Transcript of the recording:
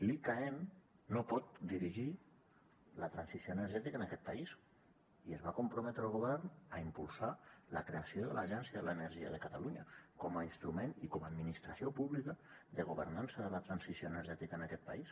l’icaen no pot dirigir la transició energètica en aquest país i es va comprometre el govern a impulsar la creació de l’agència de l’energia de catalunya com a instrument i com a administració pública de governança de la transició energètica en aquest país